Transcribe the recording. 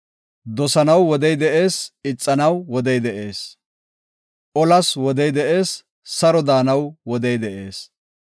Dosanaw wodey de7ees; ixanaw wodey de7ees. Olas wodey de7ees; saro daanaw wodey de7ees.